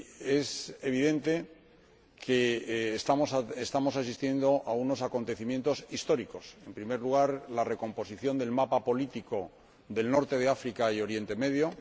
Es evidente que estamos asistiendo a unos acontecimientos históricos en primer lugar, la recomposición del mapa político del norte de África y Oriente Medio